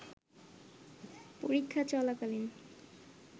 পরীক্ষা চলাকালীন